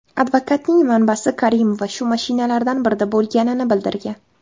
Advokatning manbasi Karimova shu mashinalardan birida bo‘lganini bildirgan.